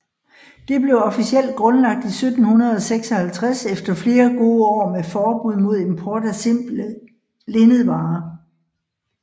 Det blev officielt grundlagt i 1756 efter flere gode år med forbud mod import af simple linnedvarer